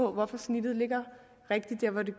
hvorfor snittet ligger rigtigt der hvor det